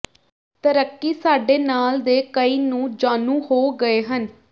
ਤਰੱਕੀ ਸਾਡੇ ਨਾਲ ਦੇ ਕਈ ਨੂੰ ਜਾਣੂ ਹੋ ਗਏ ਹਨ